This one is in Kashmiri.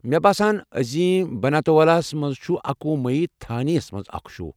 مےٚ باسان عظیم بناتوالا ہَس منٛز چھُ اکوُہ مٔی تھانییَس مَنٛز اکھ شو۔